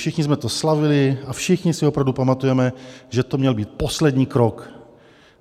Všichni jsme to slavili a všichni si opravdu pamatujeme, že to měl být poslední krok.